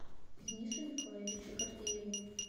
денису николаевичу гордееву